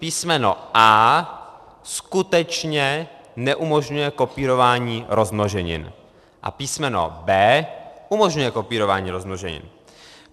Písmeno a) skutečně neumožňuje kopírování rozmnoženin a písmeno b) umožňuje kopírování rozmnoženin.